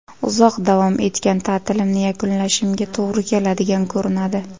Uzoq davom etgan ta’tilimni yakunlashimga to‘g‘ri keladigan ko‘rinadi.